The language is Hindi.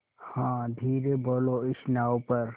हाँ धीरे बोलो इस नाव पर